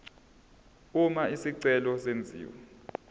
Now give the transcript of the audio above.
uma isicelo senziwa